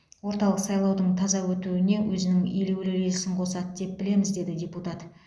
орталық сайлаудың таза өтуіне өзінің елеулі үлесін қосады деп білеміз деді депутат